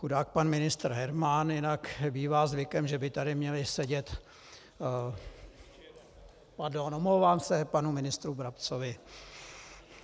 Chudák pan ministr Herman, jinak bývá zvykem, že by tady měli sedět... pardon, omlouvám se panu ministru Brabcovi.